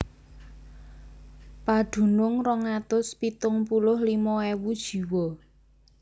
Padunung rong atus pitung puluh limo ewu jiwa